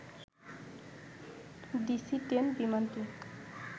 DC ten বিমানটি